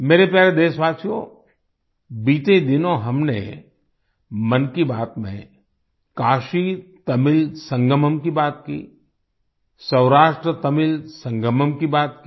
मेरे प्यारे देशवासियो बीते दिनों हमने मन की बात में काशी तमिल संगमम की बात की सौराष्ट्रतमिल संगमम की बात की